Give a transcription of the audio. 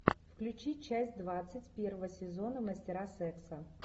включи часть двадцать первого сезона мастера секса